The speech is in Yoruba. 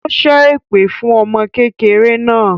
Ó ṣẹ́ èpè fún ọmọ kékeré náà